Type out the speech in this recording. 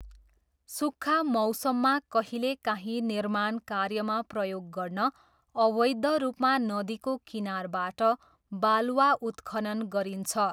सुक्खा मौसममा कहिलेकाहीँ निर्माण कार्यमा प्रयोग गर्न अवैध रूपमा नदीको किनारबाट बालुवा उत्खनन गरिन्छ।